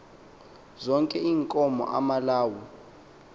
zonke iinkomo amalawu